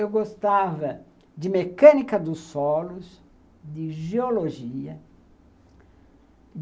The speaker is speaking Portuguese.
Eu gostava de mecânica dos solos, de geologia.